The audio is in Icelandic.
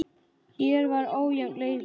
Hér var ójafn leikur.